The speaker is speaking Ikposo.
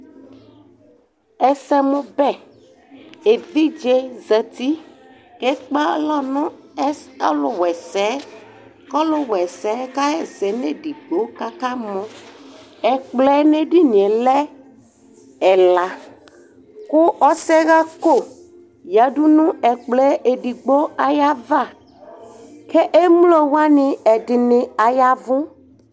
ɛsɛmóbɛ evidze zati k'ɛkpɛ alɔ no ɛsɛ ɔlowaɛsɛ ko ɔlowaɛsɛ ka ɣa ɛsɛ n'edigbo k'aka mɔ ɛkplɔɛ n'edinie lɛ ɛla ko ɔsɛɣako yadu n'ɛkplɔɛ edigbo ayava k'ɛmlo wani ɛdini ayavò